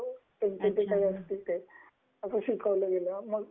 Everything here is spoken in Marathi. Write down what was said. असं जे काही असतील ते, असं शिकवल्या गेल्या, मग